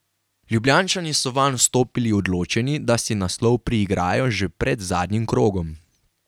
Ljubljančani so vanj vstopili odločeni, da si naslov priigrajo že pred zadnjim krogom.